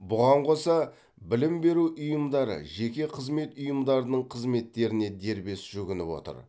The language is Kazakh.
бұған қоса білім беру ұйымдары жеке қызмет ұйымдарының қызметтеріне дербес жүгініп отыр